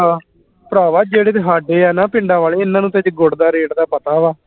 ਭਰਾਵਾਂ ਜਿਹੜੇ ਤੇ ਹਾਡੇ ਆ ਨਾ ਪਿੰਡਾਂ ਵਾਲੇ ਇਹਨਾਂ ਨੂੰ ਤੇ ਗੁੜ ਦਾ rate ਦਾ ਪਤਾ ਵਾ